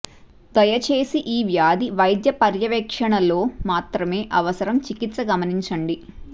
దయచేసి ఈ వ్యాధి వైద్య పర్యవేక్షణలో మాత్రమే అవసరం చికిత్స గమనించండి